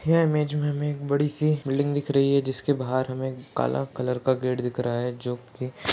यह इमेज में हमें एक बड़ी सी बिल्डिंग दिख रही है जिसके बाहर हमें काला कलर का गेट दिख रहा है जोकि --